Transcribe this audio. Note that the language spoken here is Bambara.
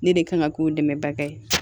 Ne de kan ka k'o dɛmɛbaga ye